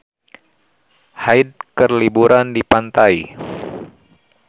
Hyde keur liburan di pantai